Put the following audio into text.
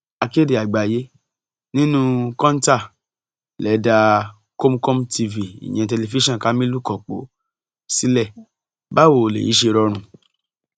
akéde àgbáyé nínú kọńtà lè dá kamkom tv ìyẹn tẹlifíṣàn kamilu kọpọ sílẹ báwo lèyí ṣe rọrùn